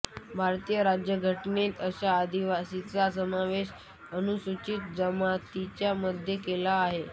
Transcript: भारतीय राज्यघटनेत अशा आदिवासीचा समावेश अनुसूचित जमातीमध्ये केला आहे